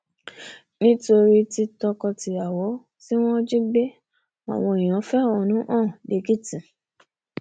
nítorí tọkọtìyàwó tí wọn jí gbé àwọn èèyàn fẹhónú hàn lẹkìtì